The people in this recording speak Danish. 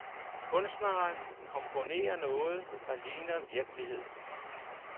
Kunstneren komponerer noget, der ligner virkelighed.